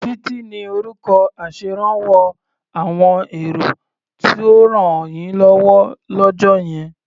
Títí ni orúkọ aṣèrànwọ́ àwọn èrò tó rànyínlọ́wọ́ lọ́jọ́ yẹn